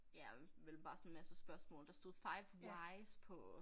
Ja og vel bare sådan en masse spørgsmål der stod five wise på